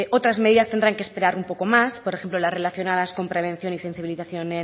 otras medidas tendrán que esperar un poco más por ejemplo las relacionadas con prevención y sensibilización